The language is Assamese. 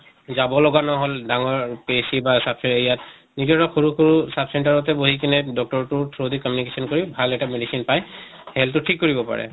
যাব লগা নহল ডাঙৰ PHC বা sub center ইয়াত এতিয়া টো সৰু সৰু sub center য়ে বহি কেনে doctor তোৰ through দি communication কৰি ভাল এটা medicine পাই health টো ঠিক কৰিব পাৰে।